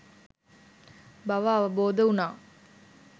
බව අවබෝධ වුනා